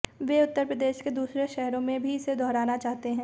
वे उत्तर प्रदेश के दूसरे शहरों में भी इसे दोहराना चाहते हैं